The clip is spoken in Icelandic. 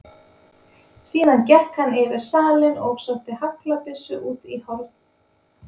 Síðan gekk hann yfir salinn og sótti haglabyssu út í horn.